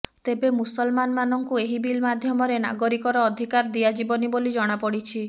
ତେବେ ମୁସଲମାନମାନଙ୍କୁ ଏହି ବିଲ୍ ମାଧ୍ୟମରେ ନାଗରିକର ଅଧିକାର ଦିଆଯିବନି ବୋଲି ଜଣାପଡିଛି